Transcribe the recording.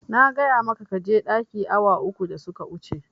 Na gaya maka kaje ɗaki awa uku da suka wuce